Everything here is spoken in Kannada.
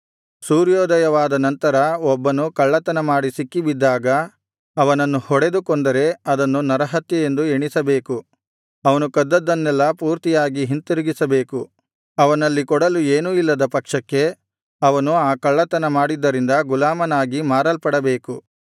ಸೂರ್ಯೋದಯವಾದ ನಂತರ ಒಬ್ಬನು ಕಳ್ಳತನಮಾಡಿ ಸಿಕ್ಕಿಬಿದ್ದಾಗ ಅವನನ್ನು ಹೊಡೆದು ಕೊಂದರೆ ಅದನ್ನು ನರಹತ್ಯೆಯೆಂದು ಎಣಿಸಬೇಕು ಅವನು ಕದ್ದದ್ದನ್ನೆಲ್ಲಾ ಪೂರ್ತಿಯಾಗಿ ಹಿಂತಿರುಗಿಸಬೇಕು ಅವನಲ್ಲಿ ಕೊಡಲು ಏನೂ ಇಲ್ಲದ ಪಕ್ಷಕ್ಕೆ ಅವನು ಆ ಕಳ್ಳತನ ಮಾಡಿದ್ದರಿಂದ ಗುಲಾಮನಾಗಿ ಮಾರಲ್ಪಡಬೇಕು